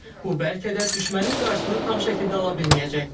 Bu bəlkə də düşmənin qarşısını tam şəkildə ala bilməyəcək.